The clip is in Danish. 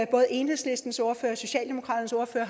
både enhedslistens ordfører og socialdemokratiets ordfører